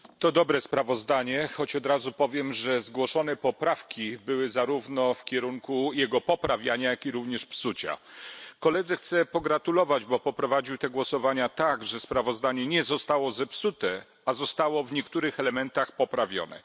Szanowny Panie Przewodniczący! To dobre sprawozdanie, choć od razu powiem, że zgłoszone poprawki były zarówno w kierunku jego poprawiania, jak i również psucia. Koledze sprawozdawcy chcę pogratulować, bo poprowadził te głosowania tak, że sprawozdanie nie zostało zepsute, a zostało w niektórych elementach poprawione.